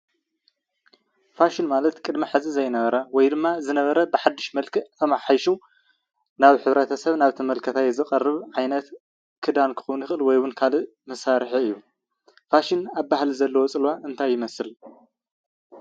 ፋሽን ማለት ቅድሚ ሕዚ ዘይነበር ወይ ድማ ዝነበረ ብሓድሽ መልክዕ ተማሓይሹ ናብ ሕ/ሰብ ናብ ተመልካታይ ዝቐርብ ዓይነት ክዳን ክኸውን ይኽእል ወይ እውን ካሊእ ዓይነት መሳሪሒ እዩ። ፋሽን ኣብ ባህሊ ዘለዎ ፅለዋ እንታይ ይመስል?